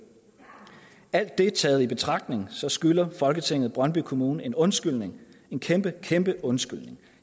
alt det taget betragtning skylder folketinget brøndby kommune en undskyldning en kæmpe kæmpe undskyldning